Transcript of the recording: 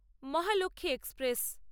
Mahalakshmi express